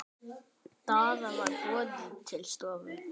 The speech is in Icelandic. Daða var boðið til stofu.